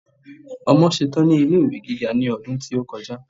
ọmọ ṣetan ni ilé ìwé gíga ní ọdún tí o kọjá